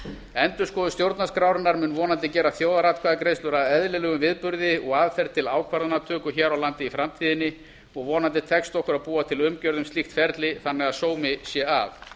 endurskoðun stjórnarskrárinnar mun vonandi gera þjóðaratkvæðagreiðslur að eðlilegum viðburði og aðferð til ákvarðanatöku hér á landi í framtíðinni og vonandi tekst okkur að búa til umgjörð um slíkt ferli þannig að sómi sé að